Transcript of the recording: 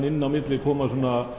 inn á milli koma